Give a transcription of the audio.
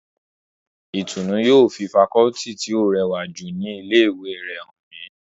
Ìtùnnú yóò fi fakọọti tí ó rẹwà jù ní ilé ìwé rẹ̀ hàn mí